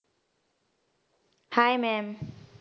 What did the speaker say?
hye mam